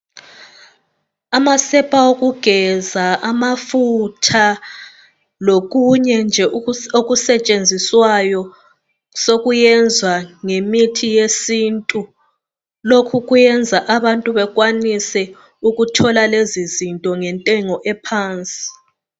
Amasepa okungeza amafutha lokunye nje okusentshinziswayo sokuyenzwa ngemithi yesintu lokhu kuyenza abantu bekwanise ukuthola lezi zinto ngentengo ephansi